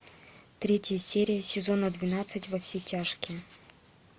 третья серия сезона двенадцать во все тяжкие